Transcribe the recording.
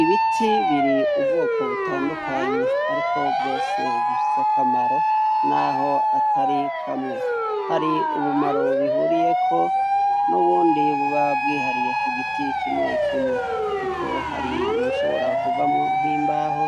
Ibiti biri ubwoko butandukanye ariko vyose bifise akamaro naho atari kamwe hari ubumaro bihuriyeko nubundi buba bwihariye kugiti kimwe kimwe kuko hari ibishobora kuvamwo nkimbaho